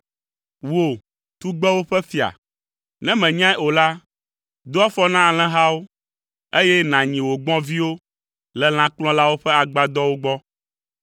Wò, tugbewo ƒe fia, ne mènyae o la, do afɔ na alẽhawo, eye nànyi wò gbɔ̃viwo le lãkplɔlawo ƒe agbadɔwo gbɔ.